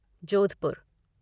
Jodhpur